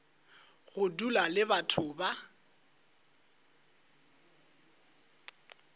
go dula le batho ba